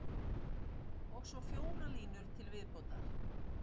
Og svo fjórar línur til viðbótar